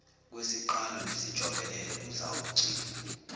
kwesiqalo nesijobelelo kuzawugcinwa